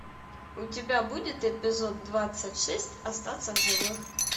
у тебя будет эпизод двадцать шесть остаться в живых